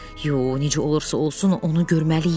Yox, necə olursa olsun, onu görməliyik.